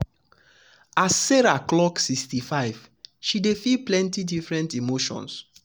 as sarah clock um 65 she dey feel plenty different emotions.